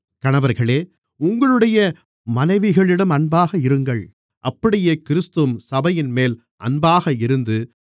கணவர்களே உங்களுடைய மனைவிகளிடம் அன்பாக இருங்கள் அப்படியே கிறிஸ்துவும் சபையின்மேல் அன்பாக இருந்து